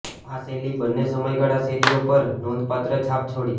આ શૈલી બંને સમયગાળા શેરીઓ પર નોંધપાત્ર છાપ છોડી